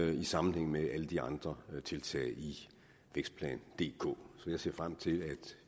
i sammenhæng med alle de andre tiltag i vækstplan dk så jeg ser frem til at